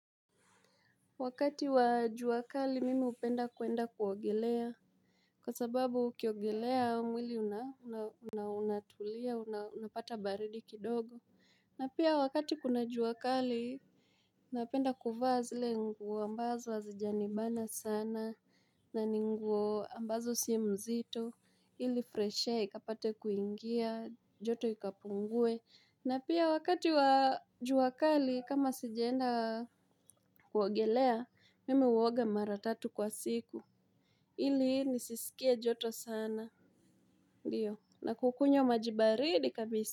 Wakati wa jua kali mimi hupenda kuenda kuogelea. Kwa sababu ukiogelea mwili unatulia, unapata baridi kidogo. Na pia wakati kuna jua kali, napenda kuvaa zile nguo ambazo hazijanibana sana, na ni nguo ambazo si mzito, ili fresh air, ikapate kuingia, joto ikapungue. Na pia wakati wa jua kali, kama sijaenda kuogelea, Mimi huoga mara tatu kwa siku ili nisisikie joto sana Ndiyo na kukunywa maji baridi kabisa.